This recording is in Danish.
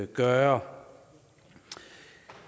gøre